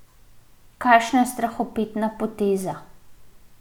Kakšna strahopetna poteza.